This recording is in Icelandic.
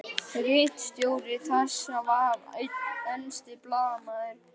Ritstjóri þess var einn elsti blaðamaður